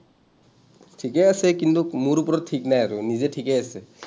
ঠিকেই আছে কিন্তু মোৰ ওপৰত ঠিক নাই আৰু। নিজে ঠিকেই আছে।